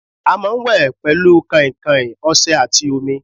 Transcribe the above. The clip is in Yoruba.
À máa wè pẹ̀lú kàn-kàn, ọsè àti omi